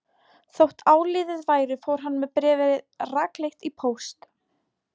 Þótt áliðið væri fór hann með bréfið rakleitt í póst.